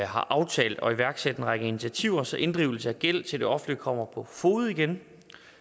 har aftalt at iværksætte en række initiativer så inddrivelse af gæld til det offentlige kommer på fode igen